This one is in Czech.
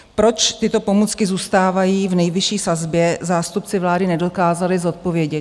Proč tyto pomůcky zůstávají v nejvyšší sazbě, zástupci vlády nedokázali zodpovědět.